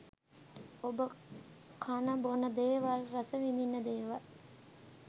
ඔබ කන බොන දේවල් රස විඳින දේවල්